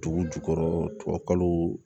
Dugu jukɔrɔ tubabukalo